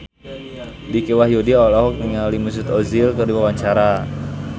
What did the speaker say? Dicky Wahyudi olohok ningali Mesut Ozil keur diwawancara